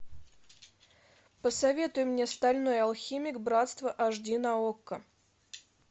посоветуй мне стальной алхимик братство аш ди на окко